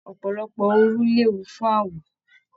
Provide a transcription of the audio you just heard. Ọpọlọpọ òru léwu fún awọ.